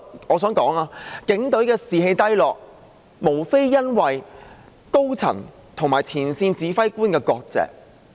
我想指出，警隊士氣低落，無非是因為高層與前線指揮官割席。